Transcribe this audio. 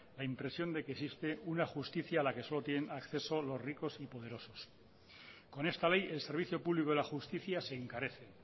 la impresión de que existe una justicia a la que solo tienen acceso los ricos y poderosos con esta ley el servicio público de la justicia se encarece